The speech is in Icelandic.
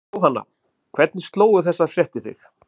Jóhanna, hvernig slógu þessar fréttir þig?